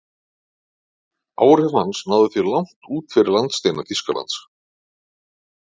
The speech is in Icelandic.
Áhrif hans náðu því langt út fyrir landsteina Þýskalands.